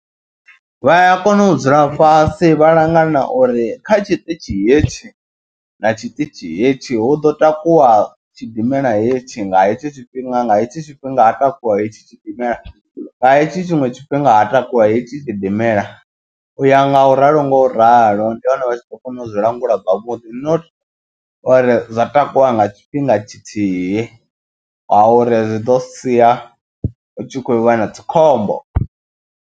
Vha ya kona u dzula fhasi vha langana uri kha tshiṱitshi hetshi na tshiṱitshi hetshi hu ḓo takuwa tshidimela hetshi. Nga hetshi tshifhinga nga hetshi tshifhinga ha takuwa hetshi tshidimela nga hetshi tshiṅwe tshifhinga ha takuwa hetshi gidimela. U ya nga u ralo ngo ralo ndi hone vha tshi kho kona u zwi langula zwavhuḓi. Not uri zwa takuwa nga tshifhinga tshithihi nga uri zwi ḓo sia hu tshi khou vha na dzikhombo.